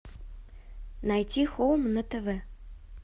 найти хоум на тв